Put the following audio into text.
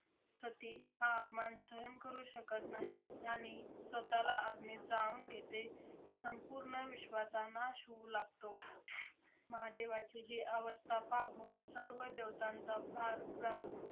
सती हा अपमान सहन करू शकत नाही आणि स्वतःला अग्नीत जाळून घेते. संपूर्ण विश्वाचा नाश होऊ लागतो. महादेवाची ही अवस्था पाहून सर्व देवतांचा फार व्या~